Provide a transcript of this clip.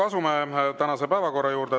Asume tänase päevakorra juurde.